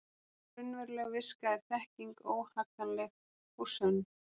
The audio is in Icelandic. Raunveruleg viska er þekking, óhagganleg og sönn.